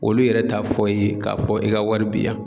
Olu yɛrɛ t'a fɔ i ye k'a fɔ i ka wari bi yan